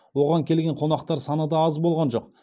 оған келген қонақтар саны да аз болған жоқ